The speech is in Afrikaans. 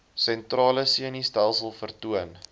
sentrale senustelsel vertoon